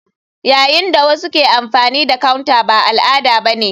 Yayin da wasu ke amfani da counter ba al'ada ba ne.